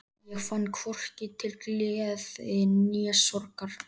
Ég fann hvorki til gleði né sorgar.